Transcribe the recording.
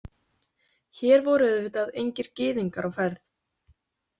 Hér voru auðvitað engir gyðingar á ferð.